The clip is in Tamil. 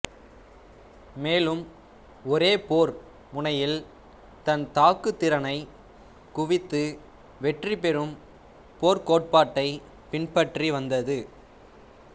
மேலும் ஒரே போர் முனையில் தன் தாக்கு திறனை குவித்து வெற்றி பெறும் போர்க்கோட்பாட்டைப் பின்பற்றி வந்தது